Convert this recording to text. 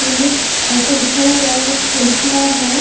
पुलिट ऐसा लिखा हुआ है एक पुलिस मेन है।